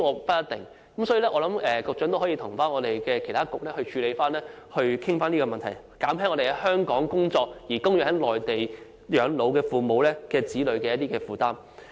因此，我希望局長可以與其他政策局處理及討論這問題，減輕在香港工作的子女供養在內地養老的父母的負擔。